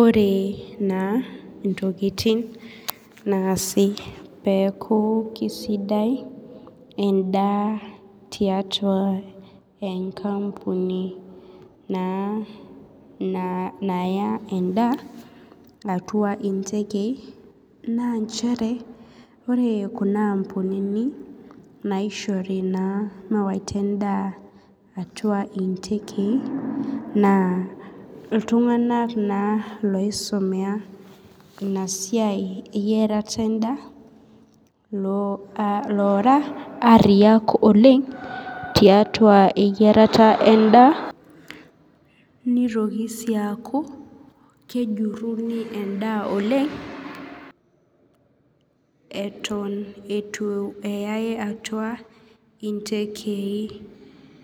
Ore na intokitin naasu peaku kesidai endaa tiatu ankang na naya endaa atua intekei na nchere ore kuna ampunini naishori meyaita endaa atua intekei na ltunganak loisomea inasiai inasiai eyerare endaa lora ariya oleng tiatua eyiarara endaa nitoki sii aku kejurini endaa oleng atan itu eyau atua ntekei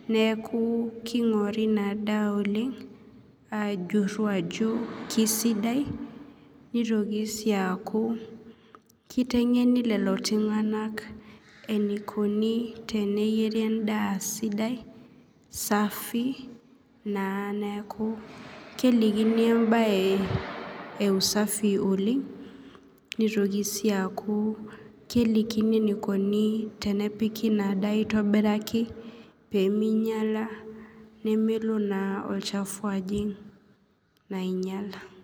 neaku kinguri inadaa olengajur ajo kesidai nitoki siaku kitengeni lolotunganak teneyieru endaa sidai safi na neaku kelikini embae oleng nitoki si aku kelikini enikuni tenepiki inadaa esidai aitobiraki pemeinyala pemelo na olchafu ajing ainyal.